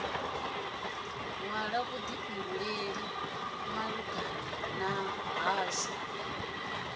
hwala vhuḓifhunduleli mahaḓani ashu u